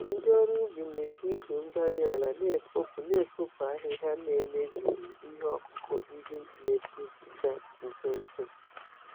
Ndị ọrụ ubi na-eji igwe-mgbárí-ala na-efopụ na-efopụ ahịhịa, na-emebighị ihe ọkụkụ ndị n'epu pụta nso nso.